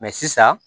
sisan